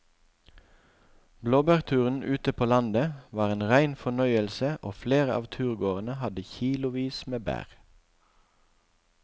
Blåbærturen ute på landet var en rein fornøyelse og flere av turgåerene hadde kilosvis med bær.